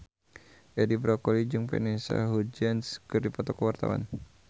Edi Brokoli jeung Vanessa Hudgens keur dipoto ku wartawan